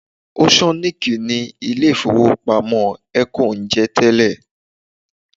Oceannic ni ilé ìfowópamọ́ Eco ń jẹ́ tẹ́lẹ̀